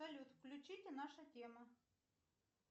салют включите наша тема